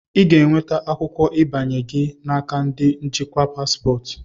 Ị ga-enweta akwụkwọ ịbanye gị n'aka ndi njikwa paspọtụ.